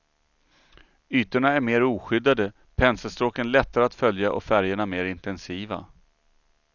Ytorna är mer oskyddade, penselstråken lättare att följa och färgerna mer intensiva.